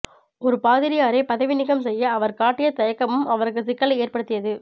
ஒரு பாதிரியாரை பதவி நீக்கம் செய்ய அவர் காட்டிய தயக்கமும் அவருக்கு சிக்கலை ஏற்படுத்தியது